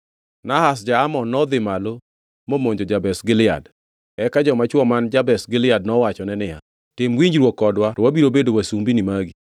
Nahash ja-Amon nodhi malo momonjo Jabesh Gilead. Eka joma chwo man Jabesh Gilead nowachone niya, “Tim winjruok kodwa to wabiro bedo wasumbini magi.”